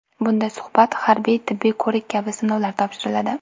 Bunda suhbat, harbiy-tibbiy ko‘rik kabi sinovlar topshiriladi.